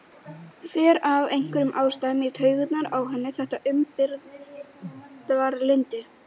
Fer af einhverjum ástæðum í taugarnar á henni þetta umburðarlyndi.